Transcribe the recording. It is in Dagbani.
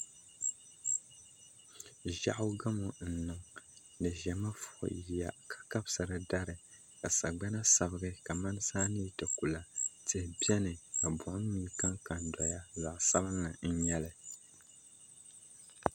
Ʒiɛɣu gamo n niŋ di ʒɛmi fui yiya ka kabisiri dari ka sagbana sabigi kamani saa ni yi ti ku la tihi biɛni ka buɣum mii kanka n doya zaɣ sabinli n nyɛli